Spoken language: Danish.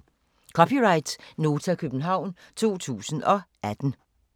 (c) Nota, København 2018